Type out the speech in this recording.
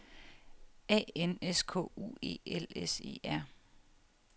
A N S K U E L S E R